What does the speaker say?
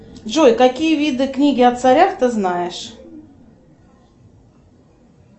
джой какие виды книг о царях ты знаешь